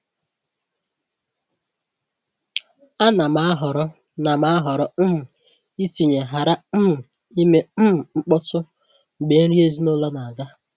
A na m ahọrọ na m ahọrọ um itinye “ghara um ime um mkpọtụ” mgbe nri ezinụlọ na-aga.